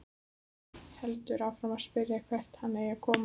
Heldur áfram að spyrja hvert hann eigi að koma.